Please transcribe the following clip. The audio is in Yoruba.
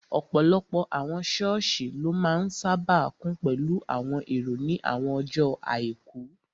Ọ̀pọ̀lọpọ̀ àwọn sọ́ọ̀sì ló máa n sáábà kún pẹ̀lú àwọn èrò ní àwọn ọjọ́ àìkú